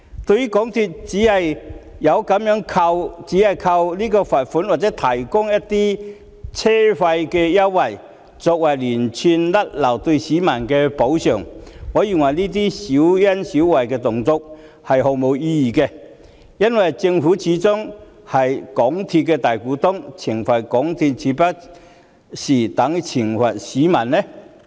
對於港鐵公司只是靠罰款或提供車費優惠作為就連串失誤對市民的補償，我認為這些小恩小惠是毫無意義的，因為政府始終是港鐵公司的大股東，懲罰港鐵豈不是等於懲罰市民？